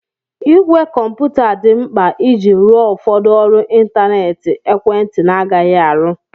Ìgwè kọmputa dị mkpa iji rụọ ụfọdụ ọrụ ịntanetị ekwentị na-agaghị arụ.